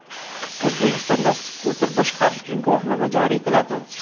O‘zbekistonda skuter boshqarish uchun guvohnoma joriy etiladi.